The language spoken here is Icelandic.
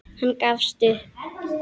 Hann gafst upp.